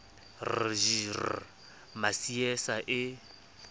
r j r masiea e